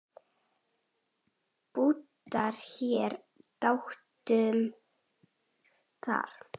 Bútur hér og bútur þar.